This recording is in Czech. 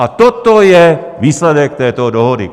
A toto je výsledek této dohody!